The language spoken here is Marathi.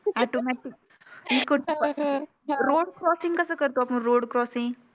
automatic इकडचं road crossing कस करतो आपण road crossing